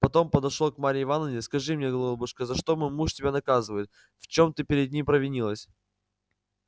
потом подошед к марье ивановне скажи мне голубушка за что мой муж тебя наказывает в чем ты перед ним провинилась